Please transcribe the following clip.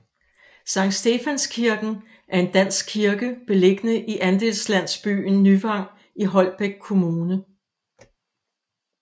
Sankt Stefans Kirken er en dansk kirke beliggende i andelslandsbyen Nyvang i Holbæk Kommune